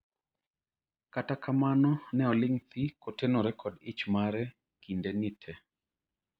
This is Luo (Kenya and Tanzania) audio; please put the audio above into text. kata kamano ne olong' thi kotenore jod ich mare kindeni te